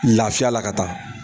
Lafiya la ka taa .